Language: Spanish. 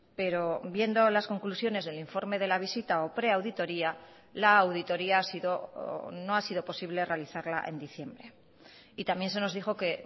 pero viendo las conclusiones del informe de la visita o preauditoría la auditoria no ha sido posible realizarla en diciembre y también se nos dijo que